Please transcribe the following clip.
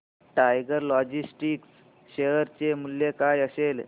tiger Logistics share चे मूल्य काय असेल